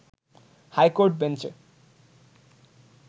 high court বেঞ্চে